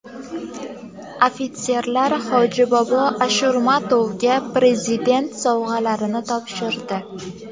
Ofitserlar Hojibobo Ashurmatovga Prezident sovg‘alarini topshirdi.